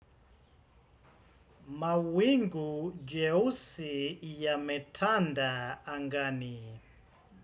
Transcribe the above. Mawingu jeusi yametanda angani.